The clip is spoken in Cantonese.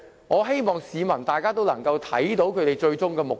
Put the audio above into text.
我希望市民能看清他們最終的目的。